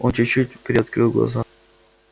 он чуть-чуть приоткрыл глаза